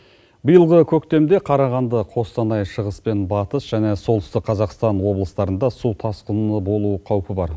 биылғы көктемде қарағанды қостанай шығыс пен батыс және солтүстік қазақстан облыстарында су тасқыны болуы қаупі бар